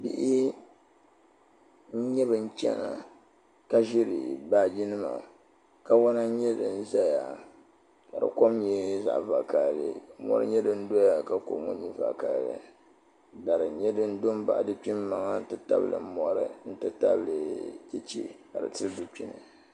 bihi n-nyɛ bɛ chana ka ʒiri baaji nima kawana n-nyɛ din zaya ka di kom nyɛ zaɣ' vakahali mɔri nyɛ din doya ka di koma nyɛ zaɣ' vokahali dari nyɛ din do baɣi dukpiŋ maŋa n-ti tabili mɔri n-ti tabili cheche ka di tili dukpini.